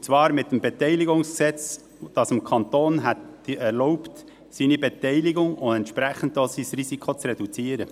Und zwar mit dem BKWG, das es dem Kanton erlaubt hätte, seine Beteiligung und entsprechend auch sein Risiko zu reduzieren.